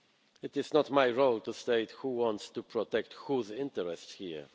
us. It is not my role to state who wants to protect whose interests here.